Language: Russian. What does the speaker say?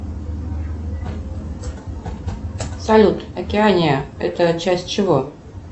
салют океания это часть чего